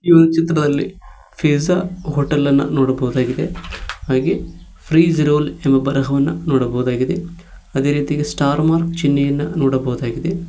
ಇವನ್ ಚಿತ್ರದಲ್ಲಿ pizza hotel ಅನ್ನು ನೋಡಬಹುದಾಗಿದೆ ಹಾಗೆ ಫ್ರೀಜ್ ರೋಲ್ ಎಂದು ಬರವನ್ನ ನೋಡಬಹುದಾಗಿದೆ ಅದೇ ರೀತಿಯಾಗಿ ಸ್ಟಾರ್ ಮಾರ್ಕ್ ಚಿಹ್ನೆಯನ್ನು ನೋಡಬಹುದಾಗಿದೆ.